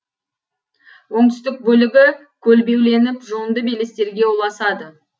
оңтүстік бөлігі көлбеуленіп жонды белестерге ұласады